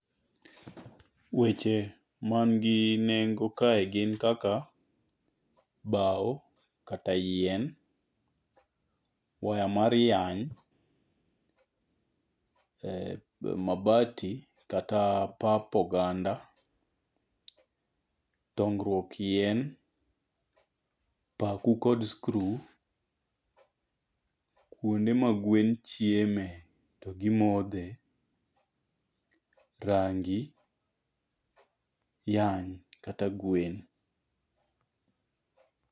Weche man gi nengo kae gin kaka bao kata yien. Waya mar yany. Mabati kata pap oganda. Dongruok yien. Paku kod screw. Kuonde ma gwen chieme to gimodhe. Rangi, yany kata gwen.